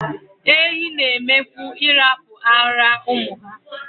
Ehi n'eme kwu ihapu ara umu ha